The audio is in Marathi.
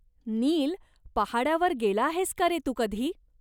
निल, पहाडा वर गेला आहेस का रे तू कधी?